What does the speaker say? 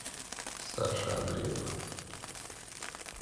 саши андреева